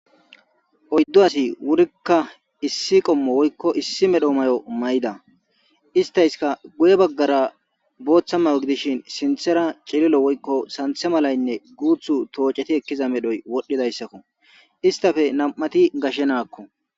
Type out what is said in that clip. Oyddo asi wurikka issi qommo woykko issi medho mayo may7da istayska guye baggara booththa mayo gidishin sinthera celilo woykko santhe malaynne guuthu tooceti ekkiza medhoy wodhdhidayssakko istafe nam7ati gashshe naakko.